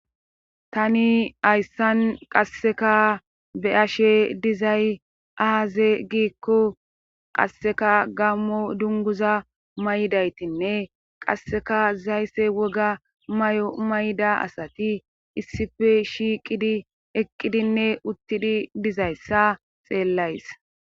tani hayssan qasseka be ashe dizay aaze giikko qasseka gammo dunguza may7daytinne qasseka zaysse woga may7o mayda asati issife shiiqidi eqqidinne uttidi dizayssa xeellays